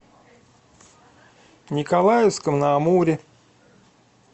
николаевском на амуре